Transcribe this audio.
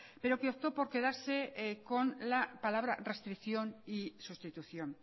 pero que optó por quedarse con la palabra restricción y sustitución